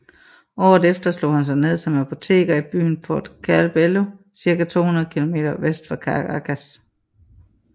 Året efter slog han sig ned som apoteker i byen Puerto Cabello circa 200 km vest for Caracas